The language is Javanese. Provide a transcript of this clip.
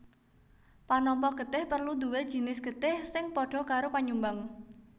Panampa getih perlu duwé jinis getih sing padha karo panyumbang